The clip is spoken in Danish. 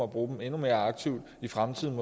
bruge mere endnu mere aktivt i fremtiden